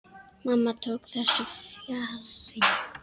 Mamma tók þessu fjarri.